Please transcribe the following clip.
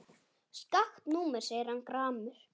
Skakkt númer segir hann gramur.